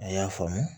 A y'a faamu